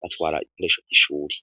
batwara igikoresho vy'ishuri.